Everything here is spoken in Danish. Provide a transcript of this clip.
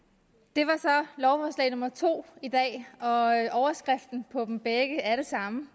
det var så lovforslag nummer to i dag og overskriften på dem begge er den samme